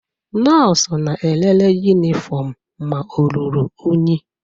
Nọọsụ na-elele yunifọmụ ma o ruru unyi.